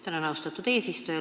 Tänan, austatud eesistuja!